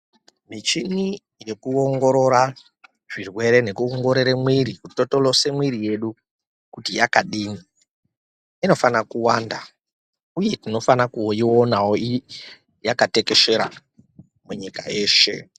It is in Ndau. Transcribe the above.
Michini yekuongorora zvirwere nekuongorora mwiri totolose mwiri yedu kuti yakadini inofana kuwanda uye tinofana kuionawo yakatekeshera munyika yeshe .